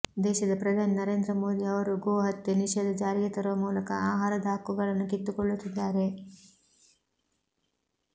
ದೇಶದ ಪ್ರಧಾನಿ ನರೇಂದ್ರ ಮೋದಿ ಅವರು ಗೋಹತ್ಯೆ ನಿಷೇಧ ಜಾರಿಗೆ ತರುವ ಮೂಲಕ ಆಹಾರದ ಹಕ್ಕುಗಳನ್ನು ಕಿತ್ತುಕೊಳ್ಳುತ್ತಿದ್ದಾರೆ